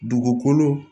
Dugukolo